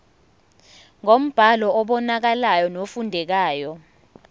ngombhalo obonakalayo nofundekayo